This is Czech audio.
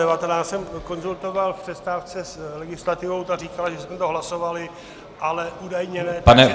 Já jsem konzultoval o přestávce s legislativou, ta říkala, že jsme to hlasovali, ale údajně ne -